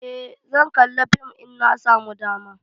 Eh, zan kalla fim in na samu dama.